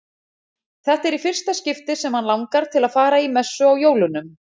Þetta er í fyrsta skipti sem hann langar til að fara í messu á jólunum.